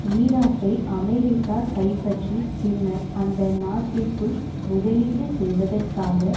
ஈராக்கை அமெரிக்கா கைப்பற்றி பின்னர் அந்த நாட்டிற்குள் முதலீடு செய்வதற்காக